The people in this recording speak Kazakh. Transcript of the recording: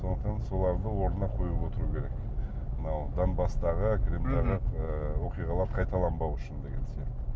сондықтан соларды орнына қойып отыру керек мынау донбасстағы оқиғалар қайталанбау үшін деген сияқты